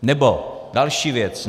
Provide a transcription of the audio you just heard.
Nebo další věc.